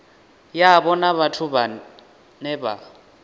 yavho na vhathu vhane vha